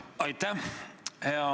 Aitäh!